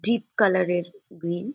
Deep colour এর green.